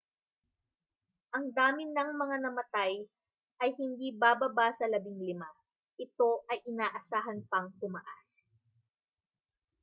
ang dami ng mga namatay ay hindi bababa sa 15 ito ay inaasahan pang tumaas